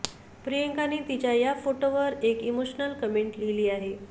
प्रियंकाने तिच्या या फोटोवर एक इमोशनल कमेंट लिहिली आहे